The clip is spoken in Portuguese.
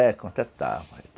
É, contratava.